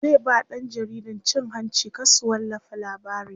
zai ba ɗan jaridan cin hanci kar su wallafa labarin